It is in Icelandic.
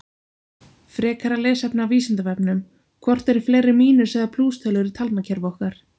Frekara lesefni af Vísindavefnum: Hvort eru fleiri mínus- eða plústölur í talnakerfi okkar?